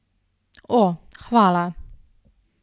O, hvala!